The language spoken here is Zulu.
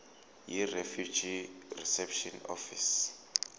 yirefugee reception office